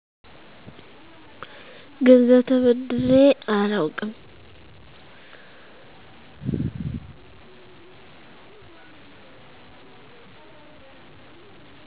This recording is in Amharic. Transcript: ገንዘብ ተበድሬ አላዉቅም